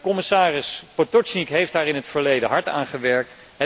Commissaris Potočnik heeft daar in het verleden hard aan gewerkt.